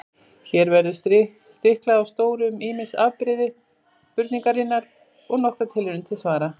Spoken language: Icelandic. Hér verður stiklað á stóru um ýmis afbrigði spurningarinnar og nokkrar tilraunir til svara.